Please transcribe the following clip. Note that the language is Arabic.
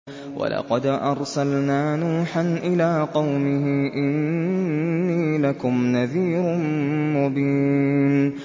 وَلَقَدْ أَرْسَلْنَا نُوحًا إِلَىٰ قَوْمِهِ إِنِّي لَكُمْ نَذِيرٌ مُّبِينٌ